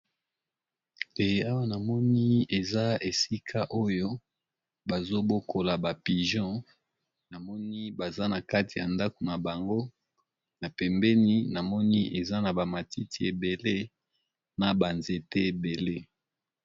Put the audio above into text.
Eeh awa namoni eza esika oyo bazobokola ba pigeons namoni baza na kati ya ndako na bango na pembeni namoni eza na bamatiti ebele na banzete ebele.